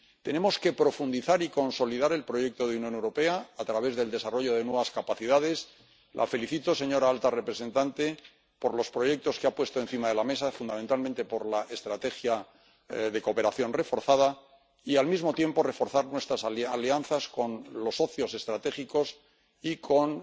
Tenemos que profundizar y consolidar el proyecto de Unión Europea a través del desarrollo de nuevas capacidades —la felicito, señora alta representante, por los proyectos que ha puesto encima de la mesa, fundamentalmente por la estrategia de cooperación reforzada—, y al mismo tiempo reforzar nuestras alianzas con los socios estratégicos y con